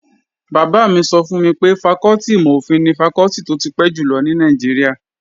Bàbá mi sọ fún mi pé fakọ́tì ìmò-òfin ni fakọ́tì tó ti pẹ́ jùlọ ní Nàìjíríà